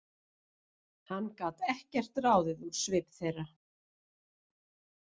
Hann gat ekkert ráðið úr svip þeirra.